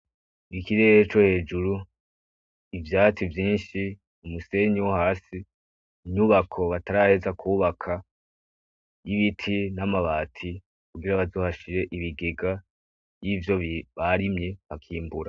Ikirere cohejuru, ivyatsi vyinshi, umusenyi wohasi, inyubako bataraheza kwubaka y'ibiti namabati kugira bazohashire ibigega vyivyo barimye bakimbura.